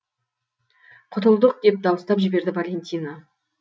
құтылдық деп дауыстап жіберді валентина